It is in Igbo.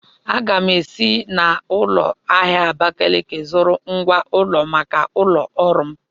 Aga m ga-esi n'ụlọ ahịa Abakaliki zụọ ngwá ụlọ maka ụlọ ọrụ m.